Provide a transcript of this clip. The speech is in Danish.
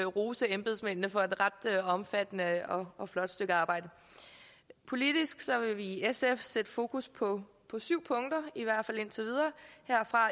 rose embedsmændene for et ret omfattende og og flot stykke arbejde politisk vil vi i sf sætte fokus på syv punkter